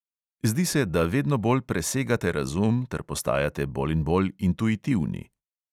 Zdi se, da vedno bolj presegate razum ter postajate bolj in bolj intuitivni.